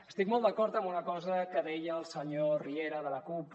estic molt d’acord amb una cosa que deia el senyor riera de la cup